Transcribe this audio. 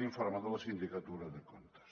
l’informe de la sindicatura de comptes